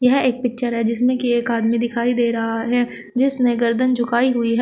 यह एक पिक्चर है जिसमें की एक आदमी दिखाई दे रहा है जिसने गर्दन झुकाई हुई है।